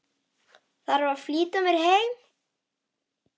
Þarf að flýta mér heim.